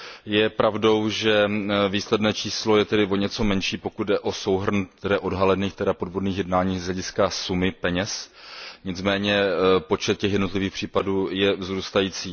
Je pravdou, že výsledné číslo je tedy o něco menší, pokud jde o souhrn odhalených, tedy podvodných jednání z hlediska sumy peněz, nicméně počet těchto jednotlivých případů je vzrůstající.